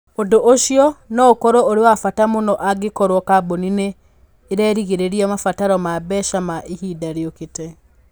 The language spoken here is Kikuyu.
Ũndũ ũcio no ũkorũo ũrĩ wa bata mũno angĩkorũo kambuni nĩ ĩrerĩgĩrĩra mabataro ma mbeca ma ihinda rĩũkĩte.